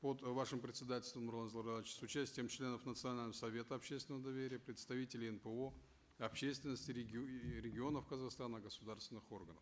под вашим председательством нурлан зайроллаевич с участием членов национального совета общественного доверия представителей нпо общественности и регионов казахстана государственных органов